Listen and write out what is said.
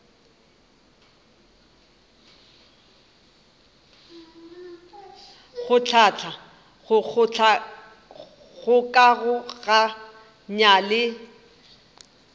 go hlahla go kgokaganya le